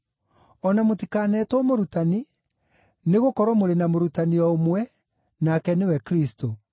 O na mũtikanetwo ‘mũrutani’, nĩgũkorwo mũrĩ na ‘Mũrutani’ o ũmwe, nake nĩwe Kristũ.